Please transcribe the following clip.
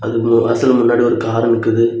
ஒவ்வொரு வாசல் முன்னாடி ஒரு கார் நிக்குது.